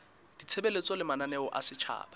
ditshebeletso le mananeo a setjhaba